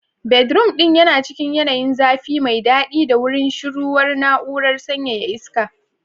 Bedroom ɗin yana cikin yanayin zafi mai daɗi ta wurin shuruwar na'urar sanyaya iska.